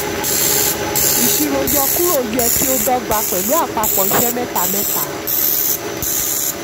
ìṣirò yọkúrò yẹ kí ó dọ́gba pẹ̀lú àpapọ̀ iṣẹ́ mẹ́ta. mẹ́ta.